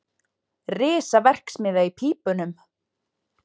Risaverksmiðja í pípunum